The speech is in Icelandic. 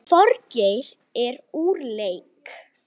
Þorgeir er úr leik.